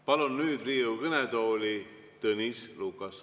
Palun nüüd Riigikogu kõnetooli Tõnis Lukase.